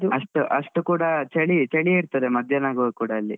ಅಷ್ಟು ಅಷ್ಟು ಕೂಡ ಚಳಿ ಚಳಿಯೇ ಇರ್ತದೆ ಮಧ್ಯಾಹ್ನ ಆಗುವಾಗ ಕೂಡ ಅಲ್ಲಿ.